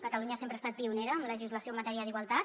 catalunya sempre ha estat pionera en legislació en matèria d’igualtat